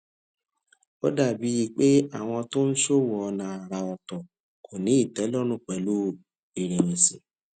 ó dà bíi pé àwọn tó ń ṣòwò ònà àrà òtò kò ní ìtélórùn pèlú ìrèwèsì